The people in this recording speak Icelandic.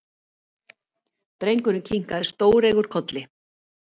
Drengurinn kinkaði stóreygur kolli.